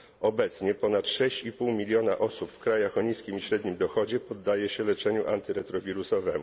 Obecnie ponad 6,5 miliona osób w krajach o niskim i średnim dochodzie poddaje się leczeniu antyretrowirusowemu.